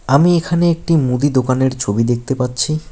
আমি এখানে একটি মুদি দোকানের ছবি দেখতে পাচ্ছি।